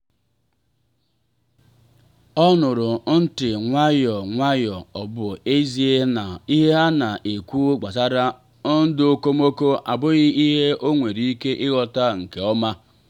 ọ nụrụ ntị nwayọ nwayọ ọ bụ ezie na ihe ha na-ekwu gbasara ndụ okomoko abụghị ihe ọ nwere ike ịghọta nke ọma.